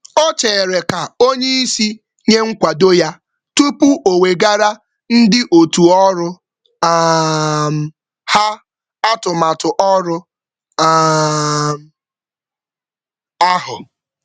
Ocheere ka onyeisi nye nkwado ya tupu owegara ndị otuu ọrụ um ha atụmatụ ọrụ um ahụ